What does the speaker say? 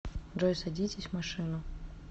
джой садитесь в машину